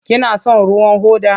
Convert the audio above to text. Kina son ruwan hoda?